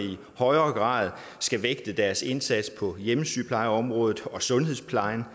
højere grad skal vægte deres indsats på hjemmesygeplejeområdet og sundhedsplejen